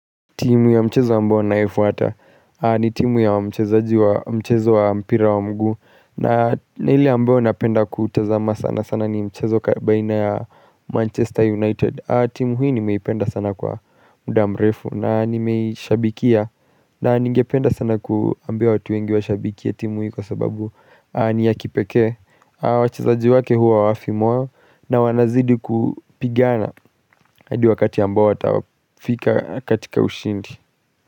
Timu ya mchezo ambayo nayofuata ni timu ya mchezaji wa mchezo wa mpira wa mguu na lile ambao napenda kutazama sana sana ni mchezo baina ya Manchester United. Timu hii nimeipenda sana kwa muda mrefu na nimeishabikia na ningependa sana kuambia watu wengi washabikie timu hii kwa sababu ni ya kipekee wachezaji wake huwa hawafi moyo na wanazidi kupigana hadi wakati ambao watafika katika ushindi.